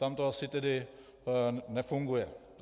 Tam to asi tedy nefunguje.